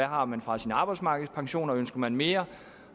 har man fra sin arbejdsmarkedspension ønsker man mere